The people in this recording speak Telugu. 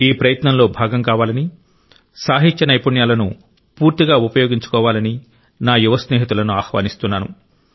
ఈ ప్రయత్నంలో భాగం కావాలని సాహిత్య నైపుణ్యాలను గరిష్టంగా ఉపయోగించుకోవాలని నా యువ స్నేహితులను ఆహ్వానిస్తున్నాను